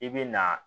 I bɛ na